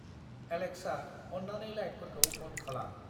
Alexa, अन्नानै लाइटफोरखौ अन खालाम।